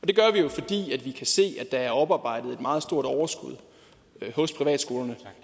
det gør vi jo fordi vi kan se at der er oparbejdet et meget stort overskud hos privatskolerne